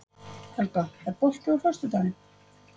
Helga, er bolti á föstudaginn?